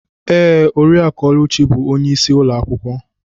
Ee, Oriakụ Oluchi bụ onye isi ulo akwukwo.